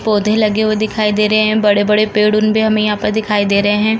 पौधे लगे हुए दिखाई दे रहे हैं। बड़े-बड़े पेड़ हमें यहाँ पर दिखाई दे रहे हैं।